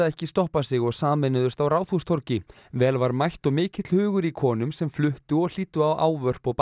ekki stoppa sig og sameinuðust á Ráðhústorgi vel var mætt og mikill hugur í konum sem fluttu og hlýddu á ávörp og